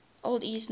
old east norse